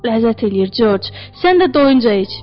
Ləzzət eləyir, Corc, sən də doyunca iç.